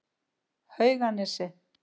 Hauganesi